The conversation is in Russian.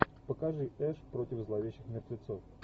покажи эш против зловещих мертвецов